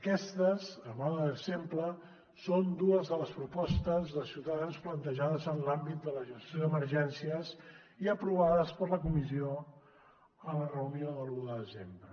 aquestes a mode d’exemple són dues de les propostes de ciutadans plantejades en l’àmbit de la gestió d’emergències i aprovades per la comissió a la reunió de l’un de desembre